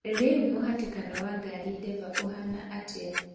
Rĩu mũhatĩkano wa ngari Denver ũhaana atĩa